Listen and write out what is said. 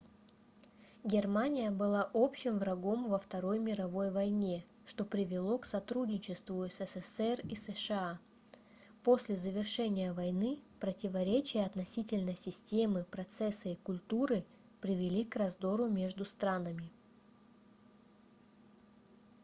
германия была общим врагом во второй мировой войне что привело к сотрудничеству ссср и сша после завершения войны противоречия относительно системы процесса и культуры привели к раздору между странами